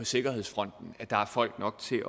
sikkerhedsfronten at der er folk nok til